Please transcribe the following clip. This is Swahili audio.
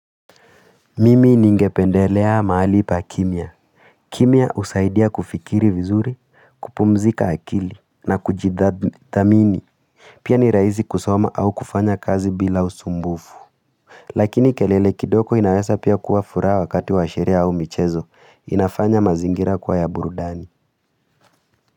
Mimi ningependelea mahali pa kimya. Kimya husaidia kufikiri vizuri kupumzika akili na kujidha thamini. Pia nirahisi kusoma au kufanya kazi bila usumbufu. Lakini kelele kidoko inaweza pia kua furaha wakati washerehe au michezo inafanya mazingira kwa ya burudani.